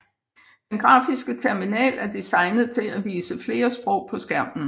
Den grafiske terminal er designet til at vise flere sprog på skærmen